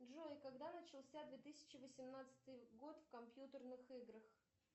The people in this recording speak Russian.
джой когда начался две тысячи восемнадцатый год в компьютерных играх